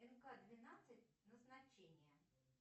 нка двенадцать назначение